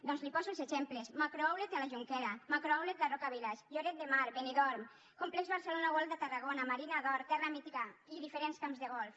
doncs li’n poso els exemples macrooutlet de la jonquera macrooutlet la roca village lloret de mar benidorm complex barcelona world de tarragona marina d’or terra mítica i diferents camps de golf